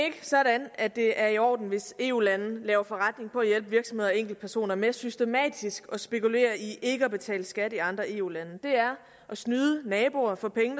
sådan at det er i orden hvis eu lande laver forretning på at hjælpe virksomheder og enkeltpersoner med systematisk at spekulere i ikke at betale skat i andre eu lande det er at snyde naboer for penge